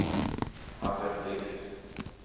Albert Blixt